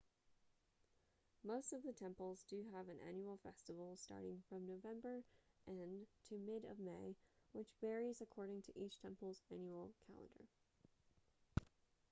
most of the temples do have an annual festival starting from november end to mid of may which varies according to each temple's annual calendar